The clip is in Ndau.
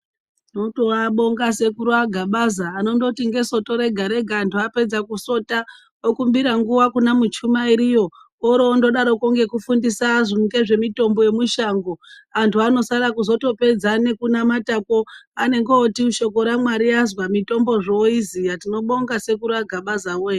Tinotoabonga sekuru aGabaza anondoti ngesoto rega rega antu apedza kusota okumbira nguwa kuna muchamuiriyo. Orondodarokwo kufundisa antu ngezvemutombo yemushango. Antu anozopedza nekunamata kwo anenge oti shoko raMwari azwa. Mitombo zvee oiziya. Tinobonga sekuru aGabaza woyee.